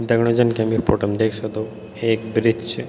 दगड़ियों जन की हम यी फोटो म देख सक्दो एक ब्रिज च।